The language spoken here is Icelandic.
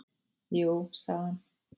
"""Jú, sagði hann."""